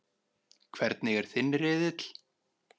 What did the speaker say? Hvernig er þinn riðill?